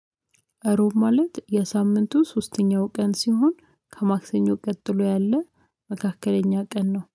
እሮብ ማለት የሳምንቱ ሶስተኛው ቀን ሲሆን ከማክሰኞ ቀጥሎ ያለ መካከለኛ ቀን ነው